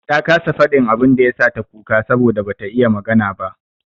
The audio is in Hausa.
Ta kasa faɗin abin da ya sa ta kuka saboda bata iya magana ba.